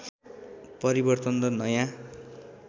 परिवर्तन र नयाँ